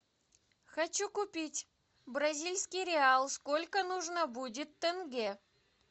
хочу купить бразильский реал сколько нужно будет тенге